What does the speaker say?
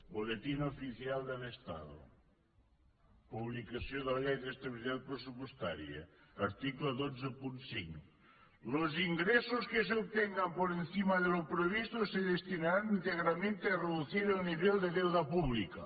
boletín oficial del estado publicació de la llei d’estabilitat pressupostària article cent i vint cinc los ingresos que se obtengan por encima de lo previsto se destinarán íntegramente a reducir el nivel de deuda pública